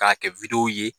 K'a kɛ ye